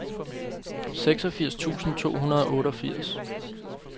seksogfirs tusind to hundrede og otteogfirs